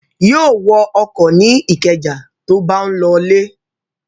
Yóò wọ ọkọ̀ ní Ìkẹjà tó bá ń lọlé.